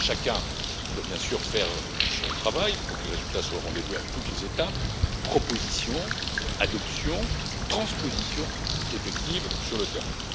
Chacun doit bien sûr faire son travail pour que les résultats soient au rendez-vous à toutes les étapes proposition, adoption et transposition effective sur le terrain.